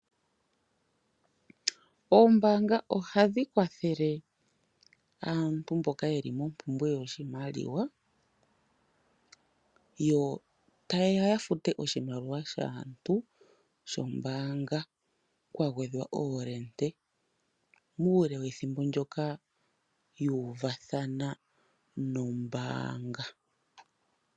Oombanga ohadhi kwathele aantu mboka yeli mompumbwe yoshimaliwa yo tayeya ya fute oshimaliwa shaantu shombaanga kwa gwedhwa oolende uule wethimbo ndoka yuuvathana nombaanga.